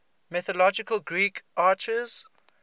mythological greek archers